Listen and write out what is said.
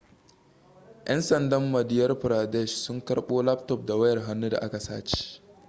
'yan sandan madhya pradesh sun karbo laptop da wayar hannu da aka sace